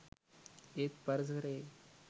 ඒත් පරිසරයේ